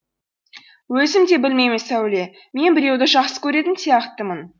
өзім де білмеймін сәуле мен біреуді жақсы көретін сияқтымын